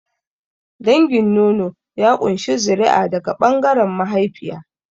Dangin nono ya ƙunshi zuri'a daga ɓangaren mahaifiya.